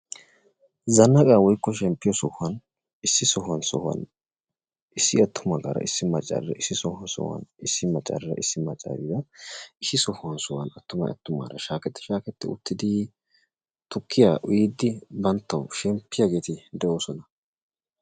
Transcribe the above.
Zannaqqaa woykko shemppiyo sohuwan, issi sohuwan sohuwan issi attumaagara issi maaccariira, issi sohuwan sohuwan issi maccariira issi maaccariira, issi sohuwan sohuwan attumay attumaara shaaketti shaaketi utidii tukkiya uyyidi banttaw shemppiyaageeti de'oosona.